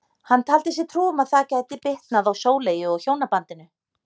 Hann taldi sér trú um að það gæti bitnað á Sóleyju og hjónabandinu.